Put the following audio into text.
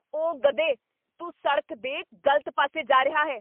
ਓ , ਗਧੇ। ਤੂੰ ਸੜਕ ਦੇ ਗ਼ਲਤ ਪਾਸੇ ਜਾ ਰਿਹਾ ਹੈ।